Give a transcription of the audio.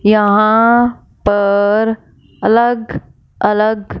यहां पर अलग अलग--